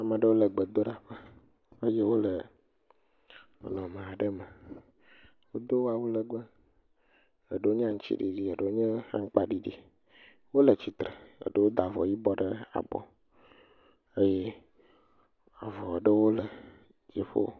Ame aɖewo egbedoɖaƒe eye wole nɔnɔme aɖe me. Wodo awu lɛgbɛ, eɖewo nye aŋutsiɖiɖi eɖewo nye aŋgbaɖiɖi. Wole tsitre eɖewo da avɔ yibɔ ɖe abɔ. Eye avɔ aɖewo le dziƒo.